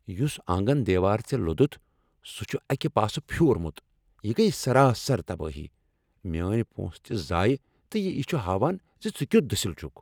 یُس آنگن دیوار ژےٚ لوٚدُتھ سُہ چھ اکہ پاسٕہ پھیورمت یہ گیہ سراسر تبٲہی، میٲنۍ پونسہٕ تہ ضایع، تہٕ یہ چھ ہاوان ز ژٕ کیُتھ دٔسل چھکھ